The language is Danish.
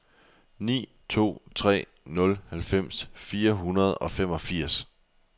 ni to tre nul halvfems fire hundrede og femogfirs